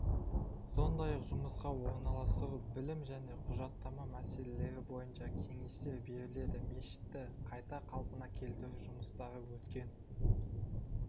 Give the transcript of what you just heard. сондай-ақ жұмысқа орналастыру білім және құжаттама мәселелері бойынша кеңестер беріледі мешітті қайта қалпына келтіру жұмыстары өткен